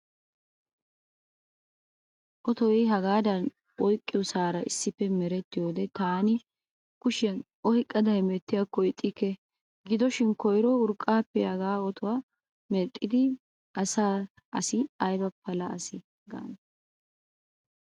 Otoy hagaadan oyqiyoosara issippe merettiyo wode taani kushiyan oyqqada hemettiyaakko ixxikke. Gidoshin koyro urqqaappe haga otuwa mexxida asi ayba pala asa gaane.